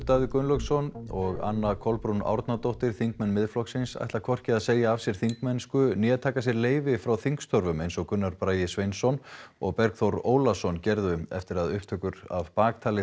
Davíð Gunnlaugsson og Anna Kolbrún Árnadóttir þingmenn Miðflokksins ætla hvorki að segja af sér þingmennsku né taka sér leyfi frá þingstörfum eins og Gunnar Bragi Sveinsson og Bergþór Ólason gerðu eftir að upptökur af